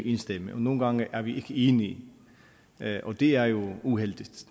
én stemme og nogle gange er vi ikke enige og det er jo uheldigt